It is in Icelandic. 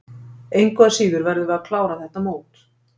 Engu að síður verðum við að klára þetta mót.